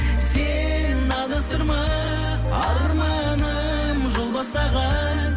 сен адастырма арманым жол бастаған